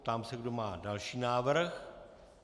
Ptám se, kdo má další návrh.